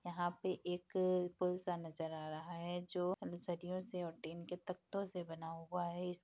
यहाँ पे एक पुल सा नज़र आ रहा है जो सरियों से और टिन के ताकतों से बना हुआ है।